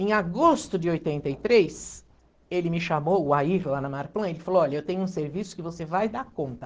Em agosto de oitenta e três, ele me chamou, o Air, lá na Marplan, ele falou, olha, eu tenho um serviço que você vai dar conta.